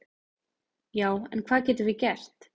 Já en hvað getum við gert?